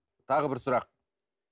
тағы бір сұрақ